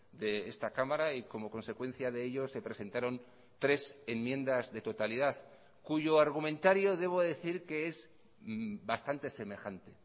de esta cámara y como consecuencia de ello se presentaron tres enmiendas de totalidad cuyo argumentario debo decir que es bastante semejante